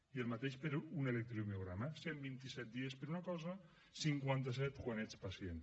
i el mateix per a un electromiograma cinquanta set dies per una cosa cent vint i set quan ets pacient